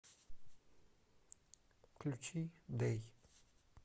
включи дэй